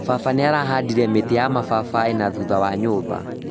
Baba nĩarahandire mĩtĩ ya mababai nathutha wa nyũmba